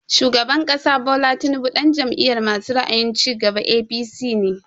Shugaban ƙasa Bola Tinubu ɗan Jam'iyar masu ra'ayin cigaba (APC) ne